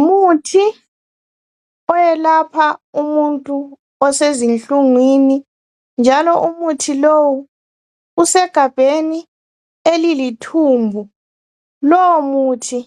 Umuthi oyelapha umuntu osezinhlungwini njalo umuthi lowu usegabheni elilithumbu lowo muthi